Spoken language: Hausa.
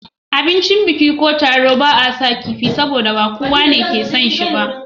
A abincin biki ko taro ba a saka kifi, saboda ba kowane yake son shi ba.